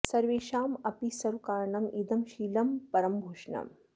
सर्वेषाम् अपि सर्व कारणम् इदं शीलं परं भूषणम्